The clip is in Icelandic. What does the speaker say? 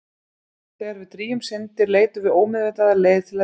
Þegar við drýgjum syndir leitum við ómeðvitað að leið til að iðrast.